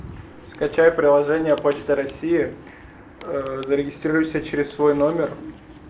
скачай приложение почта россии ээ зарегистрируйся через свой номер